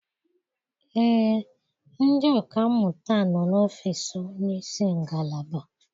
Ee, ndị ọka mmụta nọ n'ọfiisi onye isi ngalaba.